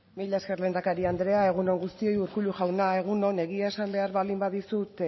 mila esker lehendakari andrea egun on guztioi urkullu jauna egun on egia esan behar baldin badizut